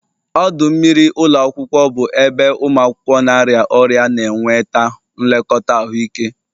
Ọdụ mmiri ụlọ akwụkwọ bụ ebe ụmụ akwụkwọ na-arịa ọrịa na-enweta nlekọta ahụike.